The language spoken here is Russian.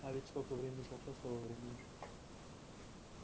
а ведь сколько времени прошло с того времени